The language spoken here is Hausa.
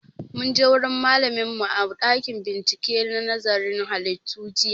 Mun je wurin malamin mu a ɗakin bincike na nazarin halittu jiya